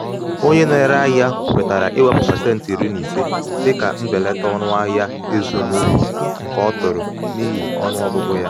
onye na-ere ahịa kwetara iwepụta pasenti iri na ise dịka mbelata ọnụ ahịa ịzụ n'ukwunke ọ tụrụ n'ihi ọnụ ọgụgụ ya.